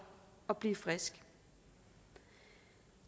at blive frisk